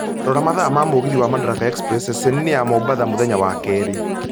Rora mathaa ma mũgithi wa madaraka express ceceni-inĩ ya mombatha mũthenya wa keri